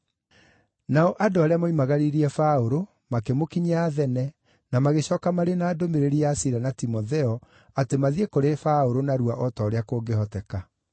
Nao andũ arĩa moimagaririe Paũlũ, makĩmũkinyia Athene, na magĩcooka marĩ na ndũmĩrĩri ya Sila na Timotheo atĩ mathiĩ kũrĩ Paũlũ narua o ta ũrĩa kũngĩhoteka.